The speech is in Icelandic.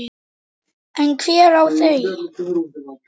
En hver á þau?